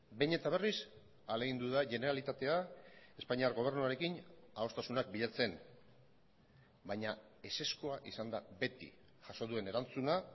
behin eta berriz ahalegindu da generalitatea espainiar gobernuarekin adostasunak bilatzen baina ezezkoa izan da beti jaso duen erantzuna